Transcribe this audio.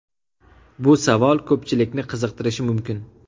Bu savol ko‘pchilikni qiziqtirishi mumkin.